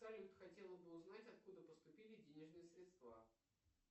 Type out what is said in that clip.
салют хотела бы узнать откуда поступили денежные средства